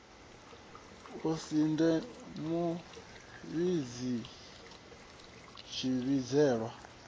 u si dze muvhidzi tshivhidzelwa